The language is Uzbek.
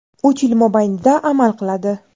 uch yil mobaynida amal qiladi.